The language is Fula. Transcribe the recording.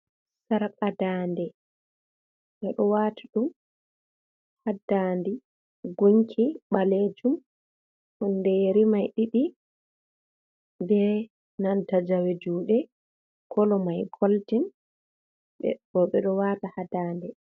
Sarga daande, ɓe ɗo waati ɗum haa daande gunki ɓaleejum huunde yeri mai ɗiɗi be nanta jawe juuuɗe, kalo may goldin boo ɓe ɗo waata haa daande.